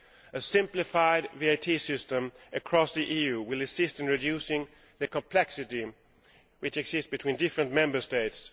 A simplified VAT system across the EU will assist in reducing the complexity which exists between different Member States.